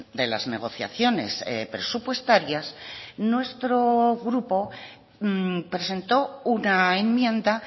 de las negociaciones presupuestarias nuestro grupo presentó una enmienda